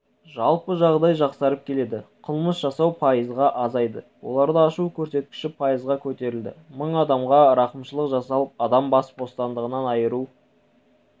жалпы жағдай жақсарып келеді қылмыс жасау пайызға азайды оларды ашу көрсеткіші пайызға көтерілді мың адамға рақымшылық жасалып адам бас бостандығынан айыру